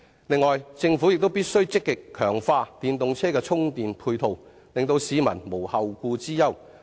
此外，政府必須積極強化電動車充電配套，令市民無後顧之憂。